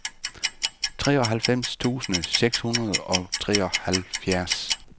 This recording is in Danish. treoghalvfems tusind seks hundrede og treoghalvfjerds